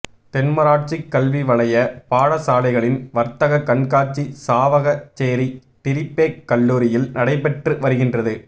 தென்மராட்சி கல்விவலைய பாடசாலைகளின் வர்த்தகக் கண்காட்சி சாவகச்சேரி டிறிபேக் கல்லூரியில் நடைபெற்று வருகின்றது